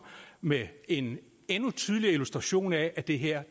med en endnu tydeligere illustration af at det her